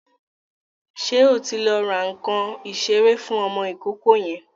Ṣé o ti lọ ra nǹkan ìṣeré fún ọmọ ìkókó yẹn?